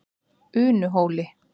Unuhóli